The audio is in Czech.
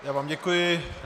Já vám děkuji.